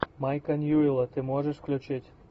майка ньюэлла ты можешь включить